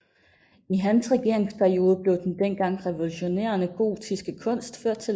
I hans regeringsperiode blev den dengang revolutionerende gotiske kunst ført til landet